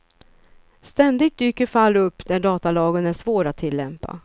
Ständigt dyker fall upp där datalagen är svår att tillämpa.